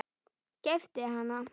Keypt hana?